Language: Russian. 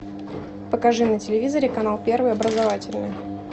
покажи на телевизоре канал первый образовательный